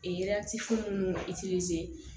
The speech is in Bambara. Ee munnu ka